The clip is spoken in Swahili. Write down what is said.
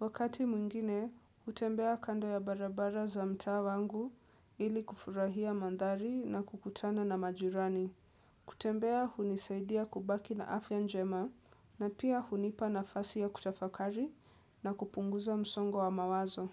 Wakati mwingine, hutembea kando ya barabara za mtaa wangu ili kufurahia mandhari na kukutana na majirani. Kutembea hunisaidia kubaki na afya njema na pia hunipa nafasi ya kutafakari na kupunguza msongo wa mawazo.